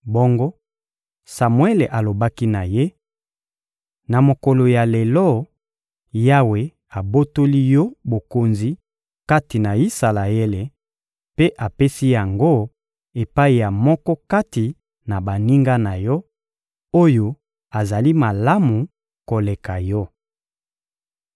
Bongo Samuele alobaki na ye: — Na mokolo ya lelo, Yawe abotoli yo bokonzi kati na Isalaele mpe apesi yango epai ya moko kati na baninga na yo, oyo azali malamu koleka yo.